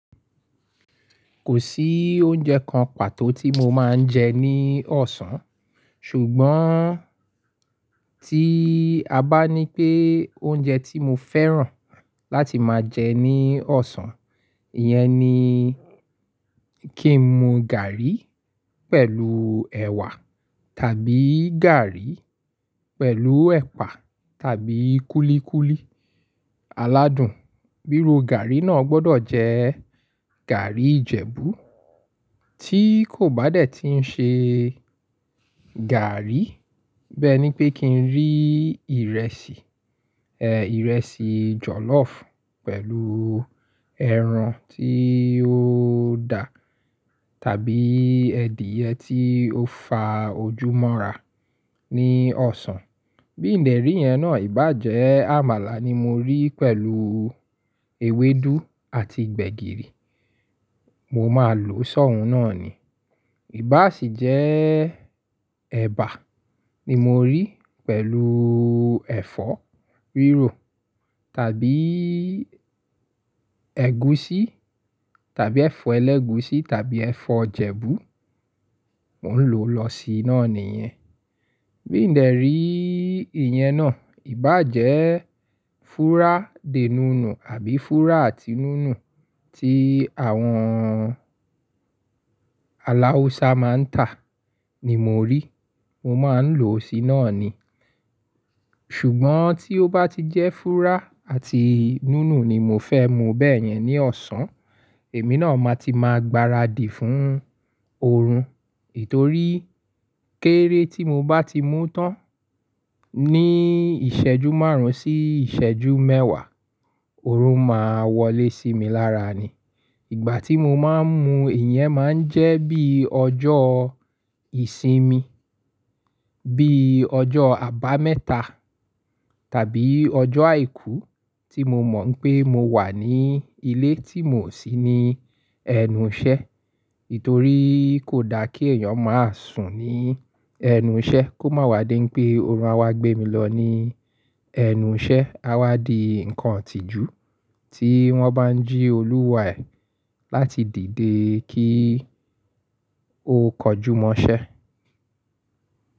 Kò sí oúnjẹ kan pàtó tí mo máa ń jẹ ní ọ̀sán, ṣùgbọ́n tí a bá ní pé oúnjẹ tí mo fẹ́ràn láti máa jẹ ní ọ̀sán, iyẹn ni kí n mu gàrí pẹ̀lú ẹ̀wà tàbí gàrí pẹ̀lù ẹ̀pà tàbí kúlíkúlí aládùn. Bíró gàrí náà gbọdọ̀ jẹ́ gàrí Ìjẹ̀bú, tí kò bá dẹ̀ tí ń ṣe gàrí bẹ́ẹ ni pé kí n rí ìrẹsì, ẹ́ ìrẹsì jọ̀lọ́ọ̀fù pẹ̀lú ẹran tí ó da tàbí ẹ̀dìyẹ tí ó fa ojú mọ́ra ní ọ̀sán. Bí n dẹ̀ rí iyẹn náà, ìbá jẹ́ àmàlà ni mo rí pẹ̀lú ewédú àti gbẹ̀gìrì, mo máa lò sọ́ùn náà ni. Ìbá sì jẹ́ ẹ̀bà ni mo rí pẹ̀lú ẹ̀fọ́ rírò tàbí ẹ̀gúsí tàbí ẹ̀fọ́ ẹlẹ́gùsí tàbí ẹ̀fọ́ Ìjẹ̀bú, mò ń lò lọ sí iná nìyẹn. Bí n dẹ̀ rí i ìyẹn náà, ìbá jẹ́ fúrá de nùnù àbí fúrá àti nùnù tí àwọn aláwùsá máa ń tà ni mo rí, mo máa ń lò ó sí iná ni. Ṣùgbọ́n tí ó bá ti jẹ́ fúrá àti nùnù ni mò fẹ́ mu bẹ́ẹ̀ yẹn ní ọ̀sán, èmi náà máa ti máa gbaradì fún oorun. Ètorí kéré tí mo bá ti mú tán ní ìṣẹ́jú márùn-ún sí ìṣẹ́jú mẹ́wàá, oorun máa wọlé sí mi lára ni. Ìgbà tí mo máa ń mu ìyẹn máa ń jẹ́ bí ọjọ́ ìsinmi, bí ọjọ́ àbámẹ́ta tàbí ọjọ́ àìkú tí mo mọ̀ pé mo wà ní ilé tí mò sí ní ẹnu iṣẹ́. Ètorí kò da kí èèyàn máa sùn ní ẹnu iṣẹ́ kó máa wádé pé oorun á gbé mi lọ ní ẹnu iṣẹ́, á wá di nǹkan itìjú tí wọ́n bá ń jí Olúwa ẹ̀ láti dìde kí ó kọjú mọ́ iṣẹ́.